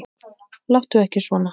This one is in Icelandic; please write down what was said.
Láttu ekki svona